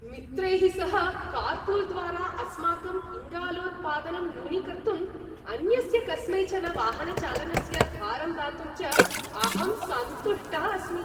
मित्रैः सह कार्पूल् द्वारा अस्माकम् इङ्गालोत्पादनं न्यूनीकर्तुम्, अन्यस्य कस्मैचन वाहनचालनस्य भारम् दातुं च अहं सन्तुष्टः अस्मि।